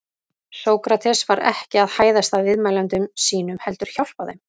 Sókrates var ekki að hæðast að viðmælendum sínum heldur hjálpa þeim.